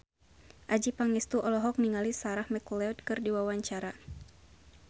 Adjie Pangestu olohok ningali Sarah McLeod keur diwawancara